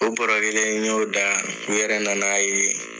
O n y'o da o yɛrɛ na na ye.